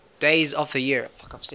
days of the year